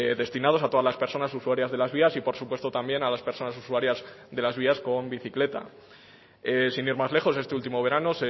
destinados a todas las personas usuarias de las vías y por supuesto también a las personas usuarias de las vías con bicicleta sin ir más lejos este último verano